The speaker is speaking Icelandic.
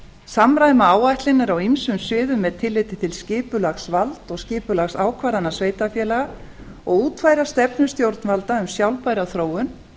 samræma áætlanir á ýmsum sviðum með tilliti til skipulagsvalds og skipulagsákvarðana sveitarfélaga og útfæra stefnu stjórnvalda um sjálfbæra þróun